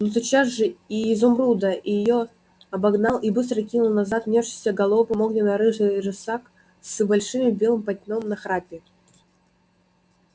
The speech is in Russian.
но тотчас же и изумруда и её обогнал и быстро кинул назад нёсшийся галопом огненно-рыжий рысак с большим белым пятном на храпе